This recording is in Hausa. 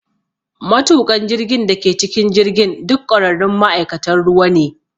Matuƙan jirgin da ke cikin jirgin duk ƙwararrun ma’aikatan ruwa ne.